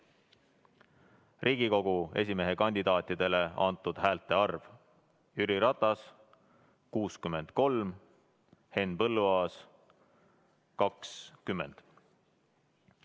Riigikogu esimehe kandidaatidele antud häälte arv: Jüri Ratas – 63, Henn Põlluaas – 20.